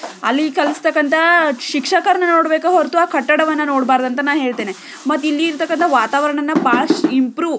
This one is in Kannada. ಅಲ್ಲಿ ಕಲಿಸ್ತಕಂತ ಶಿಕ್ಷಕರನ್ನ ನೋಡಬೇಕು ಹೊರತು ಆ ಕಟ್ಟಡವನ್ನ ನೋಡಬಾರದು ಅಂತ ಹೇಳ್ತೀನಿ ಮತ್ತು ಇಲ್ಲಿ ಇರುವ ವಾತಾವರಣ ಬಹಳಷ್ಟು ಇಂಪ್ರೊವು --